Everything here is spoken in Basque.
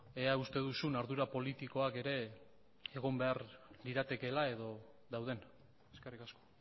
ea uste duzun ardura politikoak ere egon behar liratekeela edo dauden eskerrik asko